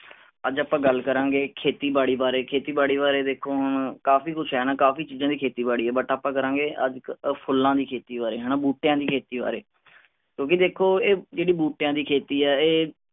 ਅੱਜ ਆਪਾਂ ਗੱਲ ਕਰਾਂਗੇ ਖੇਤੀ ਬਾੜੀ ਬਾਰੇ। ਖੇਤੀ ਬਾੜੀ ਬਾਰੇ ਦੇਖੋ ਹੁਣ ਕਾਫੀ ਕੁਛ ਹੈ ਨਾ ਕਾਫੀ ਚੀਜ਼ਾਂ ਦੀ ਖੇਤੀਬਾੜੀ ਹੈ but ਆਪਾਂ ਕਰਾਂਗੇ ਅੱਜ ਇੱਕ ਫੁੱਲਾਂ ਦੀ ਖੇਤੀ ਬਾਰੇ ਬੂਟਿਆਂ ਦੀ ਖੇਤੀ ਬਾਰੇ। ਕਿਉਂਕਿ ਦੇਖੋ ਇਹ ਜਿਹੜੀ ਬੂਟਿਆਂ ਦੀ ਖੇਤੀ ਹੈ ਇਹ